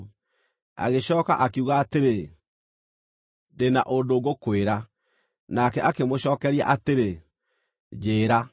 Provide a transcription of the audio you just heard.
Agĩcooka akiuga atĩrĩ, “Ndĩ na ũndũ ngũkwĩra.” Nake akĩmũcookeria atĩrĩ, “Njĩĩra.”